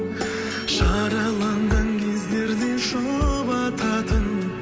жараланған кездерде жұбататын